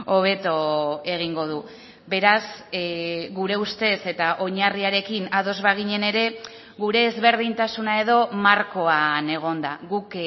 hobeto egingo du beraz gure ustez eta oinarriarekin ados baginen ere gure ezberdintasuna edo markoan egon da guk